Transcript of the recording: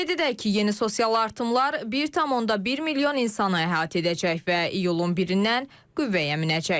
Qeyd edək ki, yeni sosial artımlar 1.1 milyon insanı əhatə edəcək və iyulun birindən qüvvəyə minəcək.